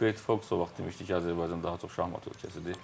Betfox o vaxt demişdi ki, Azərbaycan daha çox şahmat ölkəsidir.